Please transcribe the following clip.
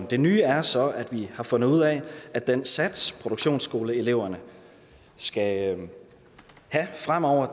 det nye er så at vi har fundet ud af at den sats produktionsskoleeleverne skal have fremover